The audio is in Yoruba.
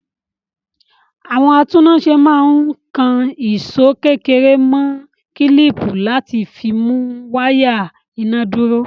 Àwọn atúnnáṣe máa ń kan ìṣó kékeré mọ́ kílíìpì láti fi mú wáyà iná dúró.